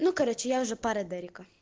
ну короче я уже пара дэрика